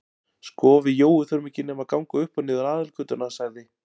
Sko við Jói þurfum ekki nema að ganga upp og niður aðalgötuna sagði